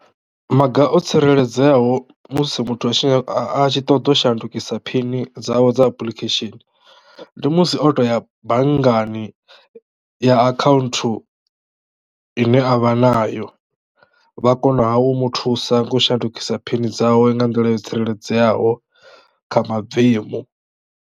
Maga o tsireledzeaho musi muthu a tshi a a tshi ṱoḓou shandukisa phini dzawe dza application ndi musi o to ya banngani ya account ine avha nayo vha kona ha u mu thusa nga u shandukisa phini dzawe nga nḓila yo tsireledzeaho kha mabvemu.